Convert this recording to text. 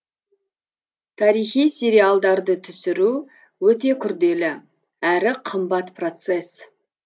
тарихи сериалдарды түсіру өте күрделі әрі қымбат процесс